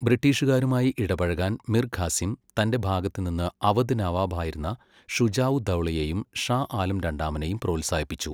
ബ്രിട്ടീഷുകാരുമായി ഇടപഴകാൻ മിർ ഖാസിം തന്റെ ഭാഗത്തുനിന്ന് അവധ് നവാബായിരുന്ന ഷുജാഉദ്ദൗളയെയും ഷാ ആലം രണ്ടാമനെയും പ്രോത്സാഹിപ്പിച്ചു.